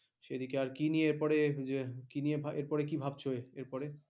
আচ্ছা, এইদিকে আর কি নিয়ে পরে আর কি নিয়ে পরে এরপর কি ভাবছ এর পরে কি ভাবছ? এর পরে